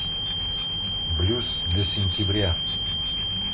блюз для сентября